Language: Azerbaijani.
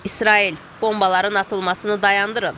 İsrail, bombaların atılmasını dayandırın.